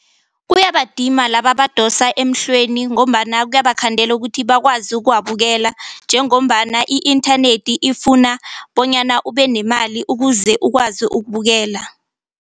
Kuyabadima laba abadosa emhlweni ngombana kuyabakhandela ukuthi bakwazi ukuwabukela njengombana i-inthanethi ifuna bonyana ube nemali ukuze ukwazi ukubukela.